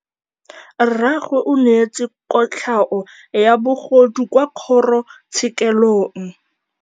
Rragwe o neetswe kotlhaô ya bogodu kwa kgoro tshêkêlông.